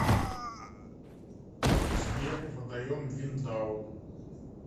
сбер водоем виндау